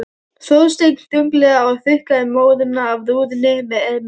Þorsteinn þunglega og þurrkaði móðuna af rúðunni með erminni.